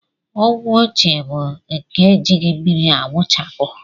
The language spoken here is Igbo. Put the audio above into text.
Ogwe ochie bụ nke e jighị mmiri awụchapụ